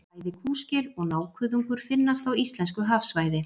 Bæði kúskel og nákuðungur finnast á íslensku hafsvæði.